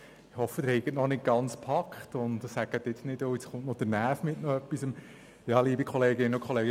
Ich hoffe, Sie haben noch nicht gepackt und denken nicht, dass jetzt noch der Näf mit einem Anliegen kommt.